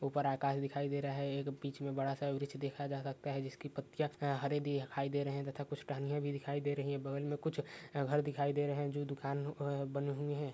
ऊपर आकाश दिखाई दे रहा है या पीछे बड़ासा पेड़ दिखाई दे रहा है जिसकी पत्तियां हरी दिखई दे रही है या कुछ तहैनिया भी दिखाई दे रही है बगल में कुछ घेर दिखाई दे र्हए हैं कुछ द दुकान बनी हूई हैं।